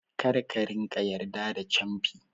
Kar ka ringa yarda da camfi